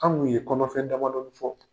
An kun ye kɔnɔfɛn damadɔɔni fɔ.